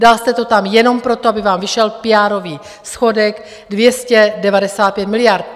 Dal jste to tam jenom proto, aby vám vyšel PR schodek 295 miliard.